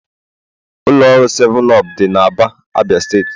Ụlọ ọrụ 7up dị n'Aba, Abia steeti.